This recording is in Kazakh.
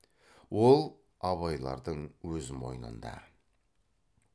ол абайлардың өз мойнында